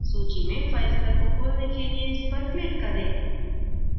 सूची में filezilla को खोलने के लिए इसपर click करें